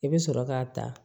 I bɛ sɔrɔ k'a ta